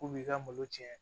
K'u b'i ka malo tiɲɛ